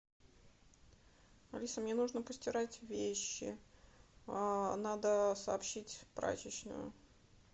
алиса мне нужно постирать вещи надо сообщить в прачечную